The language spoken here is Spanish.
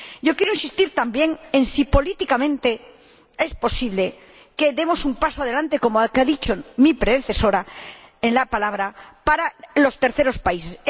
Quiero insistir también en si es políticamente posible que demos un paso adelante, como ha dicho mi predecesora en el uso de la palabra, para los terceros países.